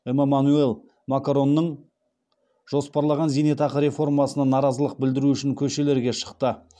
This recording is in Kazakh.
эмаманюэль макронның жоспарлаған зейнетақы реформасына наразылық білдіру үшін көшелерге шықты